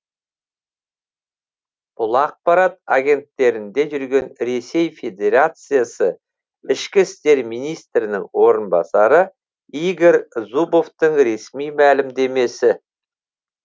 бұл ақпарат агенттерінде жүрген ресей федерациясы ішкі істер министрінің орынбасары игорь зубовтың ресми мәлімдемесі